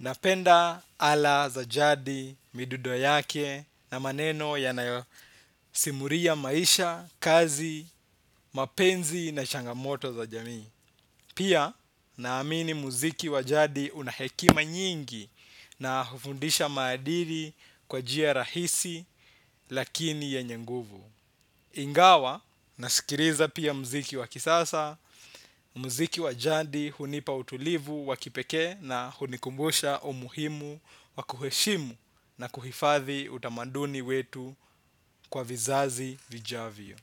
Napenda ala za jadi, midudo yake na maneno yanayosimuria maisha, kazi, mapenzi na changamoto za jamii. Pia naamini muziki wa jadi una hekima nyingi na hufundisha maadiri kwa njia rahisi lakini yenye nguvu. Ingawa nasikiriza pia muziki wa kisasa, muziki wa jadi hunipa utulivu wa kipekee na hunikumbusha umuhimu wa kuheshimu na kuhifadhi utamaduni wetu kwa vizazi vijavyo.